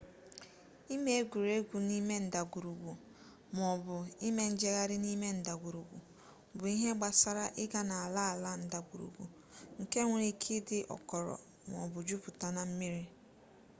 ime egwuregwu n'ime ndagwurugwu maọbụ: ime njegharị n'ime ndagwurugwu bụ ihe gbasara ịga n’ala ala ndagwurugwu nke nwere ike ịdị ọkọrọ maọbụ juputa na mmiri